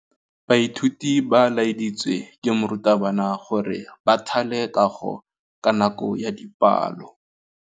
Baithuti ba laeditswe ke morutabana gore ba thale kagô ka nako ya dipalô.